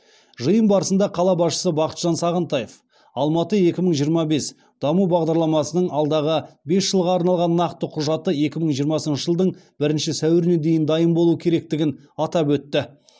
жиын барысында қала басшысы бақытжан сағынтаев алматы екі мың жиырма бес даму бағдарламасының алдағы бес жылға арналған нақты құжаты екі мың жиырмасыншы жылдың бірінші сәуіріне дейін дайын болуы керектігін атап өтті